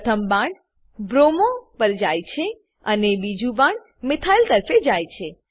પ્રથમ બાણ બ્રોમો પર જાય છે અને બીજું બાણ મિથાઇલ તરફે જાય છે